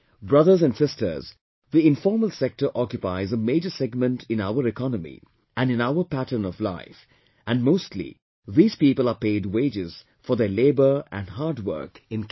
Brothers and sisters, the informal sector occupies a major segment in our economy and in our pattern of life and mostly these people are paid wages for their labour and hard work in cash